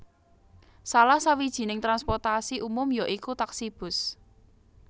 Salah sawijining transportasi umum ya iku taksi bus